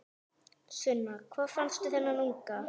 Sunna: Hvar fannstu þennan unga?